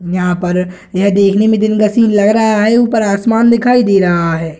यहाँ पर यह देखने में दिन का सीन लग रहा है ऊपर आसमान दिखाई दे रहा है।